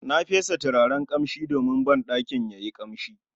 Na fesa turaren kamshin don banɗakin yayi kamshi